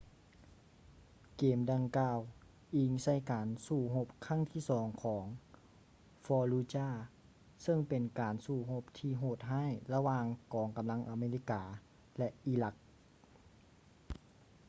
ເກມດັ່ງກ່າວອີງໃສ່ການສູ້ຮົບຄັ້ງທີສອງຂອງ fallujah ເຊິ່ງເປັນການສູ້ຮົບທີ່ໂຫດຮ້າຍລະຫວ່າງກອງກຳລັງອາເມລິກາ ແລະ ອີຣັກ